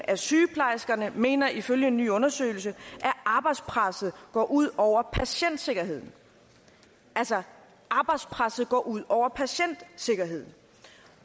af sygeplejerskerne mener ifølge en ny undersøgelse at arbejdspresset går ud over patientsikkerheden altså arbejdspresset går ud over patientsikkerheden